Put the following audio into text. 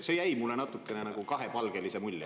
See jättis mulle natukene kahepalgelise mulje.